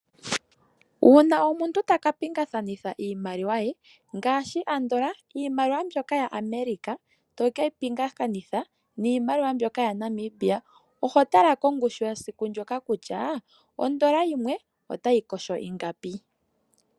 Uuna omuntu taka pingakanitha iimaliwa ye ngaashi andola iimaliwa mbyoka yaAmerica toke yi pingakanitha niimaliwa mbyoka yaNamibia, oho tala kongushu yesiku ndyoka kutya ondola yimwe otayi koshola ingapi.